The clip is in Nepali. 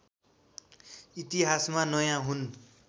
इतिहासमा नयाँ हुन्